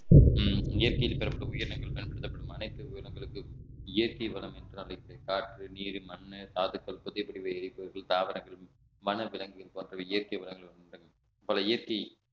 உம் இயற்கையில் பெறப்பட்ட உயிரினங்கள் பயன்படுத்தப்படும் அனைத்து உயிரினங்களுக்கும் இயற்கை வளம் என்று அழைக்கக்கூடிய காற்று நீர் மண்ணு தாதுக்கள் புதிய பிரிவு எரிபொருள் தாவரங்கள் வனவிலங்குகள் போன்றவை இயற்கை வளங்கள் உண்டு பல இயற்கை